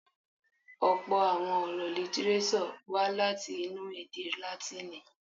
Ọ̀̀pọ̀ àwọn ọ̀rọ̀ lítírésọ̀ wá láti inú èdè Látìnì.